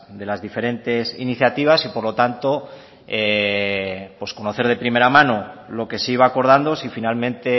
de las diferentes iniciativas y por lo tanto conocer de primera mano lo que se iba acordando si finalmente